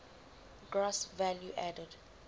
gross value added